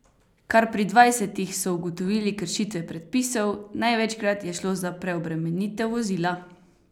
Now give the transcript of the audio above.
Kar pri dvajsetih so ugotovili kršitve predpisov, največkrat je šlo za preobremenitev vozila.